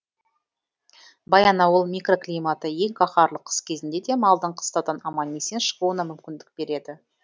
баянауыл микроклиматы ең қаһарлы қыс кезінде де малдың қыстаудан аман есен шығуына мүмкіндік береді